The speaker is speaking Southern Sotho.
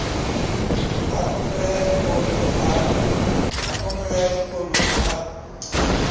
a phomolo ya dikolo a